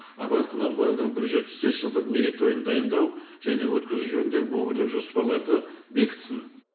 абай құнанбайұлының бір жүз жетпіс бес жылдық мерейтойын дайындау және өткізу жөніндегі өңірлік жоспарларды бекітсін